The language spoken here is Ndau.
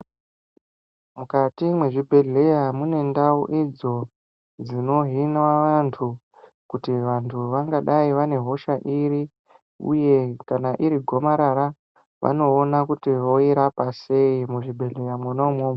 Mukati mezvibhedhlera mune ndau idzo dzino hinwa vantu kuti vantu vangadai vane hosha iri uye kana iri gomarara vanoona kuti voirapa sei muzvibhedhlera mwona imomo.